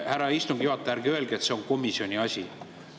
Härra istungi juhataja, ärge öelge, et see on komisjoni asi!